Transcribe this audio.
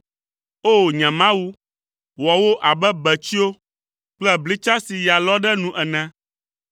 O! Nye Mawu, wɔ wo abe betsyo kple blitsa si ya lɔ ɖe nu ene.